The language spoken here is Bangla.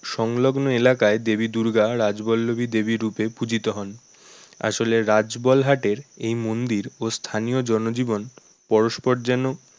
সংলগ্ন এলাকায় দেবী দুর্গা রাজবল্লবী দেবী রূপে পূজিত হন আসলে রাজবলহাট এর এই মন্দির ও স্থানীয় জনজীবন পরস্পর যেন